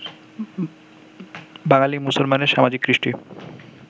বাঙালী মুসলমানের সামাজিক কৃষ্টি